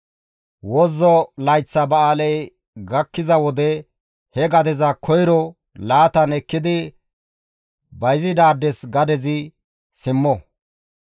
Wozzo layththa ba7aaley gakkiza wode he gadeza koyro laatan ekkidi bayzidaades gadezi simmo.